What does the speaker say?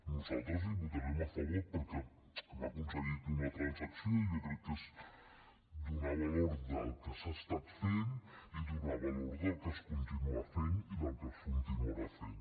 nosaltres hi votarem a favor perquè hem aconseguit una transacció i jo crec que és donar valor al que s’ha estat fent i donar valor al que es continua fent i al que es continuarà fent